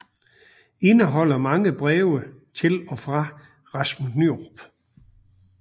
Indeholder mange breve til og fra Rasmus Nyerup